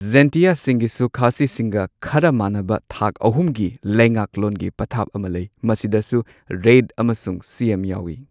ꯖꯦꯟꯇꯤꯌꯥꯁꯤꯡꯒꯤꯁꯨ ꯈꯥꯁꯤꯁꯤꯡꯒ ꯈꯔ ꯃꯥꯟꯅꯕ ꯊꯥꯛ ꯑꯍꯨꯝꯒꯤ ꯂꯩꯉꯥꯛꯂꯣꯟꯒꯤ ꯄꯊꯥꯞ ꯑꯃ ꯂꯩ, ꯃꯁꯤꯗꯁꯨ ꯔꯦꯏꯗ ꯑꯃꯁꯨꯡ ꯁꯤꯑꯦꯝ ꯌꯥꯎꯋꯤ꯫